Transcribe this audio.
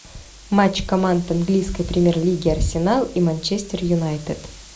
матч команд английской премьер лиги арсенал и манчестер юнайтед